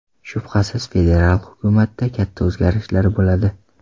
Shubhasiz, federal hukumatda katta o‘zgarishlar bo‘ladi”.